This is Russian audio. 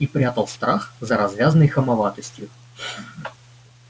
и прятал страх за развязной хамоватостью